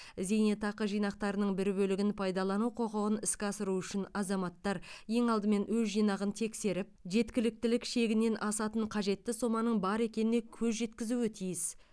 зейнетақы жинақтарының бір бөлігін пайдалану құқығын іске асыру үшін азаматтар ең алдымен өз жинағын тексеріп жеткіліктілік шегінен асатын қажетті соманың бар екеніне көз жеткізуі тиіс